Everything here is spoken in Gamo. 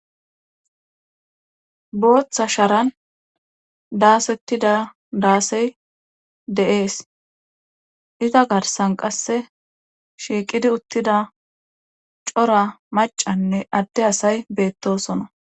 Booththa sharan daasettida daasey deees iza garsan qasse shiiqidi uttida cora macanne adde asay beettosona